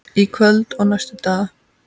Í kvöld og næstu daga?